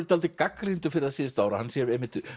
dálítið gagnrýndur fyrir það síðustu ár að hann sé